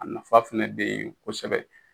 A nafa fɛnɛ be yen kosɛbɛ